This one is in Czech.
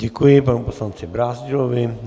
Děkuji panu poslanci Brázdilovi.